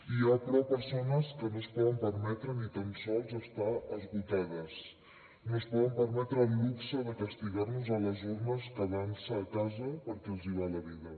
hi ha però persones que no es poden permetre ni tan sols estar esgotades no es poden permetre el luxe de castigar nos a les urnes quedant se a casa perquè els hi va la vida